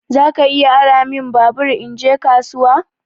Zaka iya ara min babur in je kasuwa?